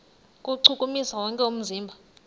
kuwuchukumisa wonke umzimba